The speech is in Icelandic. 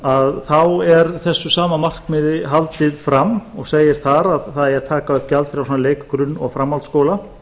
að þá er þessu sama markmiði haldið fram og segir þar að það eigi að taka upp gjaldfrjálsan leik grunn og framhaldsskóla